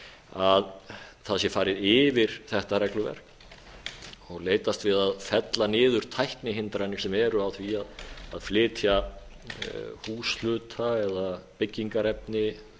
að það sé farið yfir þetta regluverk og leitast við að fella niður tæknihindranir sem eru á því að flytja húshluta eða byggingarefni